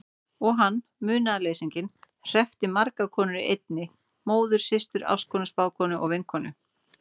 Og hann, munaðarleysinginn, hreppti margar konur í einni: móður systur ástkonu spákonu vinkonu.